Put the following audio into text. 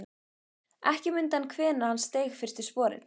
Ekki mundi hann hvenær hann steig fyrstu sporin.